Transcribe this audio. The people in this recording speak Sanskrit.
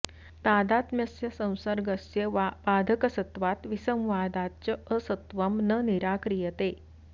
तादात्म्यस्य संसर्गस्य वा बाधकसत्वात् विसंवादाच्च असत्त्वं न निराक्रियते